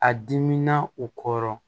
A diminan u kɔrɔ